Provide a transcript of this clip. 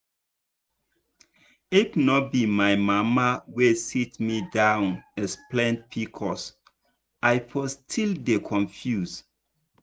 if no be my mama wey sit me down explain pcos i for still dey confuse.